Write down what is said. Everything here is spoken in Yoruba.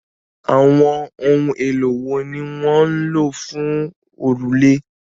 Àwọn ohun èlò wo ni wọ́n n lò fún òrùlé?